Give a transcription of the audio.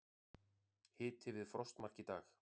Hiti við frostmark í dag